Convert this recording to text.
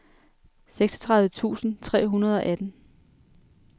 seksogtredive tusind tre hundrede og atten